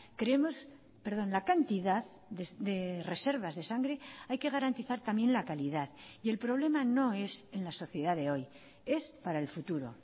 creemos perdón la cantidad de reservas de sangre hay que garantizar también la calidad y el problema no es en la sociedad de hoy es para el futuro